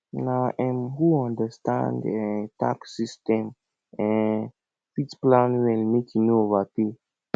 na um who understand um tax system um fit plan well make e no overpay